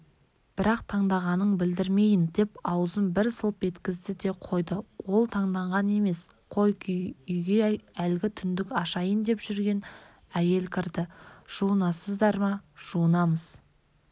бірақ таңданғанын білдірмейін деп аузын бір сылп еткізді де қойды ол таңданған емес қой үйге әлгі түндік ашайын деп жүрген әйел кірді жуынасыздар ма жуынамыз